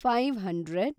five hundred